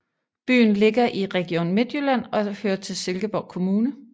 Byen ligger i Region Midtjylland og hører til Silkeborg Kommune